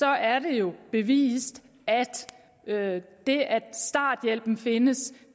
er det jo bevist at det at starthjælpen findes